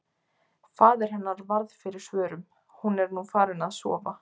Faðir hennar varð fyrir svörum: Hún er nú farin að sofa.